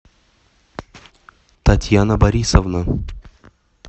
татьяна борисовна